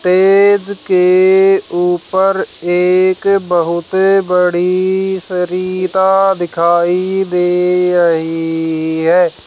Stage के ऊपर एक बहुते बड़ी सरिता दिखाई दे रही है।